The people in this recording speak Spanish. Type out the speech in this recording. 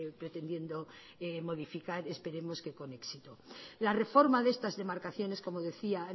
pretendiendo modificar esperemos que con éxito la reforma de estas demarcaciones como decía